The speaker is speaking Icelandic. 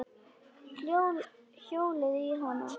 Hjólið í hana.